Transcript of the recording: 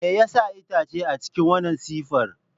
Me yasa itace a cikin wannan siffar?